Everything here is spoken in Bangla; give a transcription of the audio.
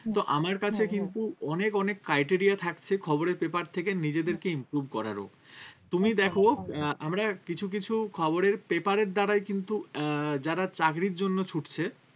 কিন্তু আমার কাছে কিন্তু অনেক অনেক criteria থাকছে খবরের paper থেকে নিজেদেরকে improve করারও তুমি দেখো আহ আমরা কিছু কিছু খবরের paper এর দ্বারাই কিন্তু আহ যারা চাকরির জন্য ছুটছে